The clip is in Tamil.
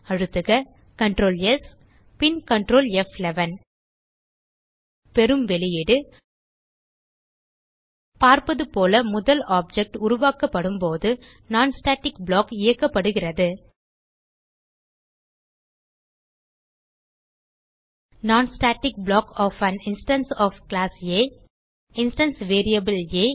அழுத்துக Ctrl பின் Ctrl பெறும் வெளியீடு பார்ப்பதுபோல முதல் ஆப்ஜெக்ட் உருவாக்கப்படும்போது non ஸ்டாட்டிக் ப்ளாக் இயக்கப்படுகிறது non static block of an instance of class ஆ இன்ஸ்டான்ஸ் வேரியபிள் ஆ